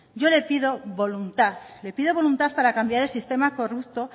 yo le pido voluntad le pido voluntad para cambiar el sistema corrupto